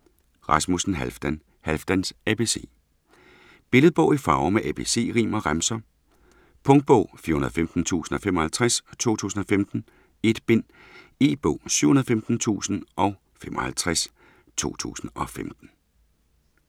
Rasmussen, Halfdan: Halfdans abc Billedbog i farver med ABC-rim og remser. Punktbog 415055 2015. 1 bind. E-bog 715055 2015.